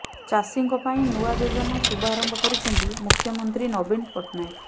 ଚାଷୀଙ୍କ ପାଇଁ ନୂଆ ଯୋଜନା ଶୁଭାରମ୍ଭ କରିଛନ୍ତି ମୁଖ୍ୟମନ୍ତ୍ରୀ ନବୀନ ପଟ୍ଟନାୟକ